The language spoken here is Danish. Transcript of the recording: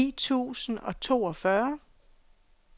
ni tusind og toogfyrre